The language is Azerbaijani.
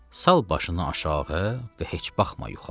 Sal başını aşağı və heç baxma yuxarı.